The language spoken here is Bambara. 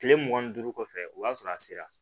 Kile mugan ni duuru kɔfɛ o y'a sɔrɔ a sera